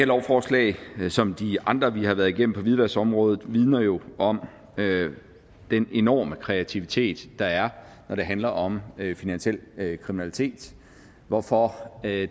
lovforslag som de andre vi har været igennem på hvidvaskområdet vidner jo om den enorme kreativitet der er når det handler om finansiel kriminalitet hvorfor det